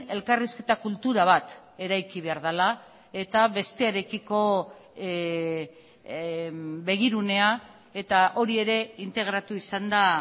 elkarrizketa kultura bat eraiki behar dela eta bestearekiko begirunea eta hori ere integratu izan da